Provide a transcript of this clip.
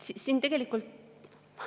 Siin tegelikult …